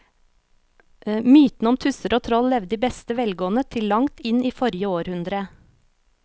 Mytene om tusser og troll levde i beste velgående til langt inn i forrige århundre.